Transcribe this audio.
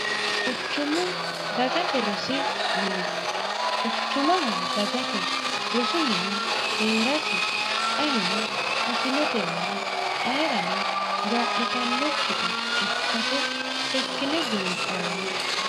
quchumu dagate rosi mine quchumaho dagate rosu mini hee'rasi ayino afinotenna ayerano gaa'litannokkita ikkase sekkine buunxanni